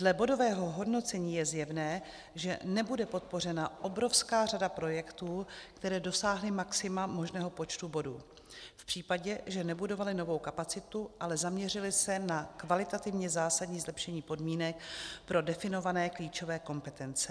Dle bodového hodnocení je zjevné, že nebude podpořena obrovská řada projektů, které dosáhly maxima možného počtu bodů, v případě, že nebudovaly novou kapacitu, ale zaměřily se na kvalitativně zásadní zlepšení podmínek pro definované klíčové kompetence.